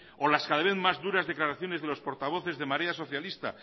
o las cada vez más duras declaraciones de los portavoces de marea socialista